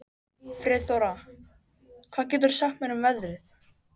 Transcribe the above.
Friðþóra, hvað geturðu sagt mér um veðrið?